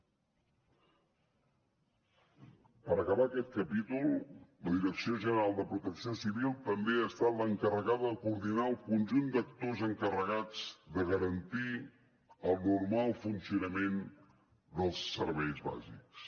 per acabar aquest capítol la direcció general de protecció civil també ha estat l’encarregada de coordinar el conjunt d’actors encarregats de garantir el normal funcionament dels serveis bàsics